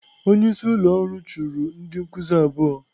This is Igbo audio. Onye isi ụlọ ọrụ chụrụ ndị nkuzi abụọ.